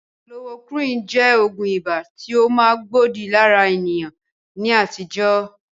kolorokúwìnì jẹ́ Ògùn ibà tí ó ma gbòdì lára èèyàn ní àtijọ́